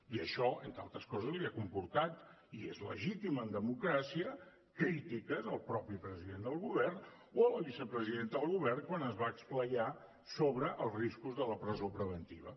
i això entre altres coses li ha comportat i és legítim en democràcia crítiques al mateix president del govern o a la vicepresidenta del govern quan es va esplaiar sobre els riscos de la presó preventiva